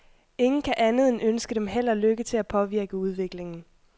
Ingen kan andet end ønske dem held og lykke til at påvirke udviklingen.